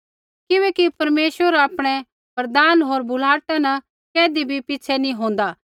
किबैकि परमेश्वर आपणै वरदान होर बुलाहटा न कैधी भी पिछ़ै नैंई होन्दा